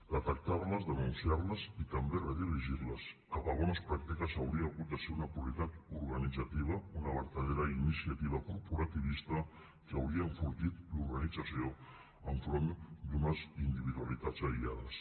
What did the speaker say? detectarles denunciarles i també redirigirles cap a bones pràctiques hauria hagut de ser una prioritat organitzativa una vertadera iniciativa corporativista que hauria enfortit l’organització enfront d’unes individualitats aïllades